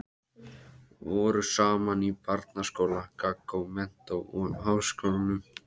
Voru saman í barnaskóla, gaggó, menntó og háskólanum.